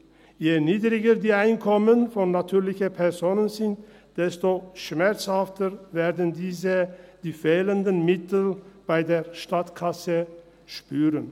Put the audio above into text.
Je niedriger die Einkommen der natürlichen Personen sind, desto schmerzhafter werden diese die fehlenden Mittel in der Staatskasse spüren.